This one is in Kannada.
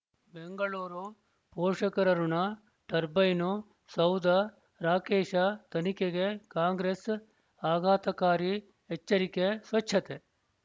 ಬೆಂಗಳೂರು ಪೋಷಕರಋಣ ಟರ್ಬೈನು ಸೌಧ ರಾಕೇಶ ತನಿಖೆಗೆ ಕಾಂಗ್ರೆಸ್ ಆಘಾತಕಾರಿ ಎಚ್ಚರಿಕೆ ಸ್ವಚ್ಛತೆ